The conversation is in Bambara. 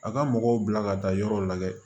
A ka mɔgɔw bila ka taa yɔrɔw la dɛ